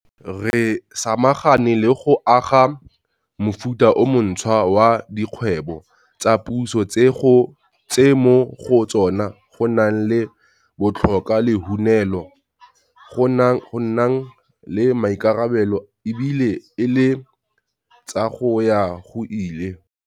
Re samagane le go aga mofuta o montšhwa wa Dikgwebo tsa Puso tse mo go tsona go nang le botlhoka lehunelo, go nang le maikarabelo e bile e le tsa go ya go ile.